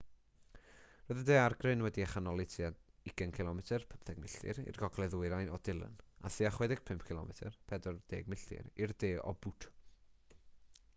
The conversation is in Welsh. roedd y ddaeargryn wedi'i chanoli tua 20 cilomedr 15 milltir i'r gogledd-gogledd ddwyrain o dillon a thua 65 cilomedr 40 milltir i'r de o butte